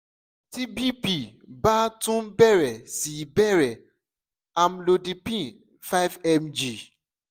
ti bp ba tun bẹrẹ si bẹrẹ amlodipine five mg